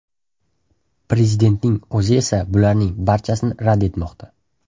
Prezidentning o‘zi esa bularning barchasini rad etmoqda.